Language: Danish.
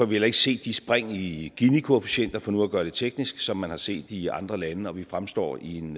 vi heller ikke set de spring i ginikoefficienter for nu at gøre det teknisk som man har set i andre lande og vi fremstår i en